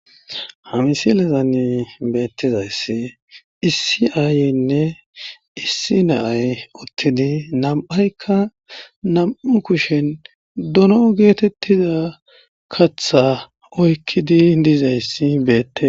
ha misilezanne beettizayssi issi aayeynne issi naay uttidi nam'aykka nam'u kushen dono geetettida katha oykkidi dizayssi beettes